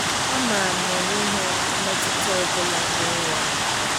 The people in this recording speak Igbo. amaram na enweghim mmetuta ọbụla nyere ya